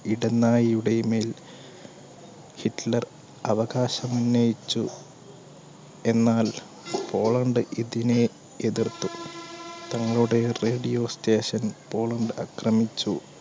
ഇടനാഴിയുടെ മേൽ ഹിറ്റ്ലർ അവകാശമുന്നയിച്ചു. എന്നാൽ പോളണ്ട് ഇതിനെ എതിർത്തു തങ്ങളുടെ radio station പോളണ്ട് അക്രമിച്ചു